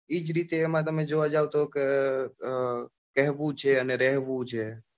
એજ રીતે તમે જોવા જાવ કે કેહવું છે અને રહેવું છે.